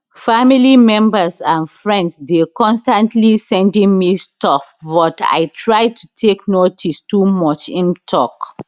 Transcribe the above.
family members and friends dey constantly sending me stuff but i try not to take notice too much im tok